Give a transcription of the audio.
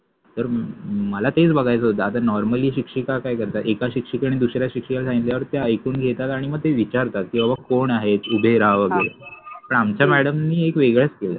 तर मला तेच बघायच होत आता नॉर्मलि शिक्षिका काय करतात एका शिक्षिकेने दुसऱ्या शिक्षिकेला सांगितल्यावर त्या ऐकुण घेतात आणि मग ते विचारतात कि बाबा कोण आहे उदय रा वगेरे पण आमच्या मॅडम नि एक वेगळच केल.